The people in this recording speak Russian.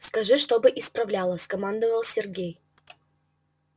скажи чтобы исправляла скомандовал сергей